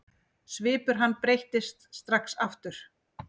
Svipur hans breyttist strax aftur.